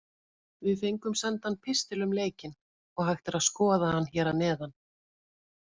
Við fengum sendan pistil um leikinn og hægt er að skoða hann hér að neðan.